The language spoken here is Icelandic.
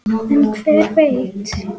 En hver veit!